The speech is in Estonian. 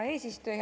Hea eesistuja!